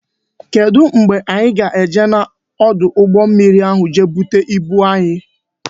Kedu mgbe anyị ga-eje n'ọdụ ụgbọ mmiri je bute ibu anyị?